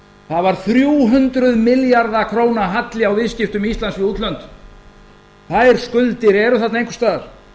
það var þrjú hundruð milljarða króna halli á viðskiptum íslands við útlönd þær skuldir eru þarna einhvers staðar